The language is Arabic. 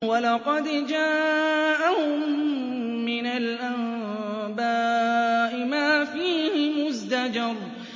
وَلَقَدْ جَاءَهُم مِّنَ الْأَنبَاءِ مَا فِيهِ مُزْدَجَرٌ